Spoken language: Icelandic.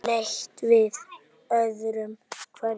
Leit við öðru hverju.